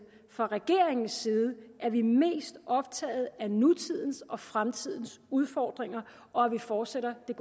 fra regeringens side er vi mest optaget af nutidens og fremtidens udfordringer og at vi fortsætter det